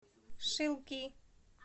шилки